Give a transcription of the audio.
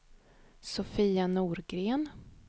Sofia Norgren